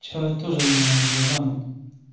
вчера тоже меня меня он забанил